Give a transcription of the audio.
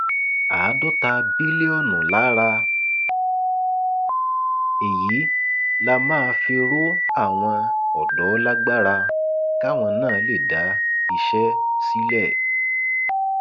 àádọta bílíọnù lára èyí la máa fi rọ àwọn ọdọ lágbára káwọn náà lè dá iṣẹ sílẹ